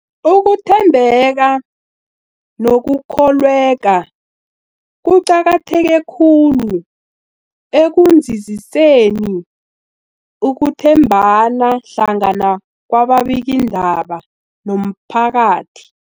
Ukuthembeka nokukholweka kuqakatheke khulu ekunzinziseni ukuthembana hlangana kwababikiindaba nomphakathi.